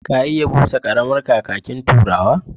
Ka iya busa ƙaramar kakaki na turawa?